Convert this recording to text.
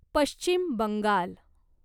Paschim Bengal